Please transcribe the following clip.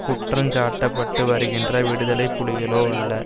குற்றஞ் சாட்டப்பட்டுவருகின்ற விடுதலை புலிகளோ அல்ல